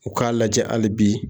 U k'a lajɛ hali bi